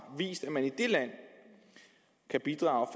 vist at man i det land kan bidrage